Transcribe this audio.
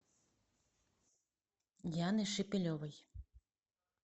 яны шепелевой